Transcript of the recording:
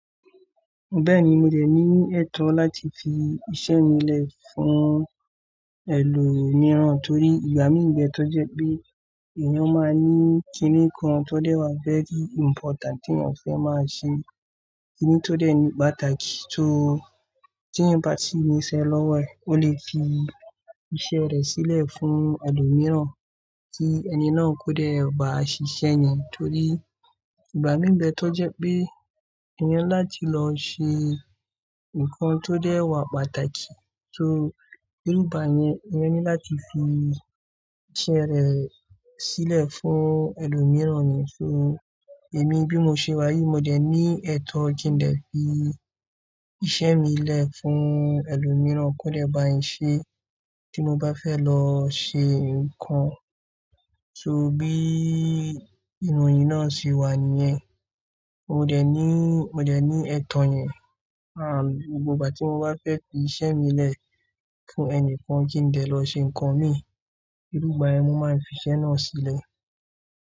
Bẹ́ẹ̀ni, mo dẹ̀ ní ẹ̀tọ́ láti fi iṣẹ́ mi lẹ̀ fún ẹlòmíràn torí ìgbà míì n bẹ tó jẹ pé èèyàn máa ní kíní kan tó dẹ́ wá very important tí èèyàn fẹ́ máa ṣe. Kíní tó dẹ́ ní pàtàkì tó teeyan ba ti niṣẹ́ lọ́wọ́ e, ó lè fi iṣẹ́ rẹ̀ sílẹ̀ fún ẹlòmíràn kí ẹni náà kó dẹ̀ ba ṣiṣẹ́ yẹn torí ìgbà míì n bẹ tó jẹ pé èèyàn láti lọ ṣe nǹkan tó dẹ́ wà pàtàkì tó, nígbà yẹn, èèyàn ní láti fi iṣẹ́ rẹ̀ sílẹ̀ fún ẹlòmíràn ni. So, èmi bí mo ṣe wá yìí, mo dẹ̀ ní ẹ̀tọ́ kí n dè fi iṣẹ́ mi lẹ̀ fún ẹlòmíràn kó dẹ̀ báyin ṣe tí mo bá fẹ́ lọ ṣe nǹkan. So bí ìnù yín náà ṣe wà níyẹn, mo dẹ̀ ní, mo dẹ̀ ní ẹ̀tọ́ yẹn. Àbí gbogbo ìgbà tí mo bá fẹ́ fi iṣẹ́ mi lẹ̀ fún ẹnìkan kí n dè lọ ṣe nǹkan mii, iru igbà yẹn mo máa n fiṣẹ́ náà sílẹ̀.